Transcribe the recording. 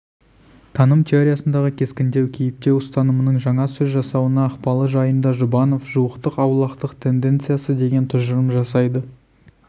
таным теориясындағы кескіндеу кейіптеу ұстанымының жаңа сөз жасауына ықпалы жайында жұбанов жуықтық-аулақтық тенденциясы деген тұжырым жасайды